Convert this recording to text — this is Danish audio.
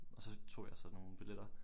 Og så tog jeg så nogle billetter